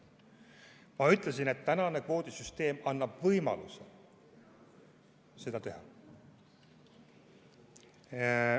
Ma ütlesin, et tänane kvoodisüsteem annab võimaluse seda teha.